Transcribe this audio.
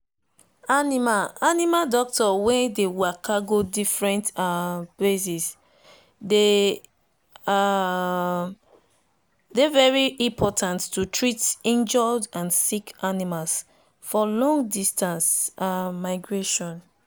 animal animal doctor wen dey waka go different um places dey um very important to treat injured and sick animals for long distance um migration.